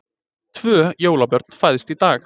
Tvö jólabörn fæðst í dag